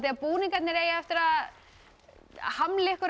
að búningarnir eigi eftir að hamla ykkur